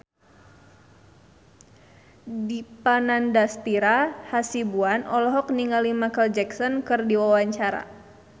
Dipa Nandastyra Hasibuan olohok ningali Micheal Jackson keur diwawancara